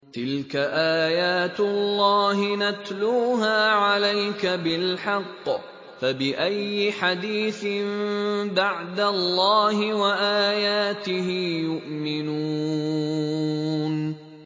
تِلْكَ آيَاتُ اللَّهِ نَتْلُوهَا عَلَيْكَ بِالْحَقِّ ۖ فَبِأَيِّ حَدِيثٍ بَعْدَ اللَّهِ وَآيَاتِهِ يُؤْمِنُونَ